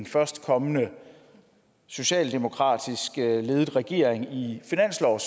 førstkommende socialdemokratisk ledede regering lige